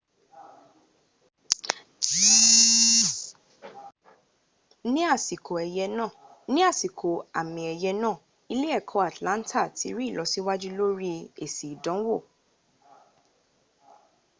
ní àsìkò àmì ẹ̀yẹ̀ náà ilé-ẹkọ́ atlanta ti rí ìlọsíwájú lórí èsì ìdánwò